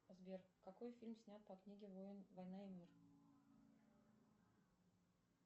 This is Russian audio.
сбер какой фильм снят по книге война и мир